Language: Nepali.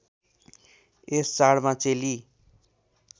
यस चाडमा चेली